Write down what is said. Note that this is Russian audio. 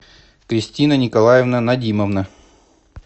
кристина николаевна надимовна